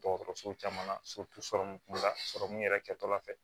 Dɔgɔtɔrɔso caman na la yɛrɛ kɛtɔla fɛ